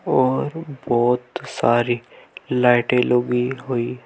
और बहुत सारी लाइटें लगी हुई है।